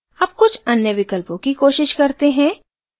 अब कुछ अन्य विकल्पों की कोशिश करते हैं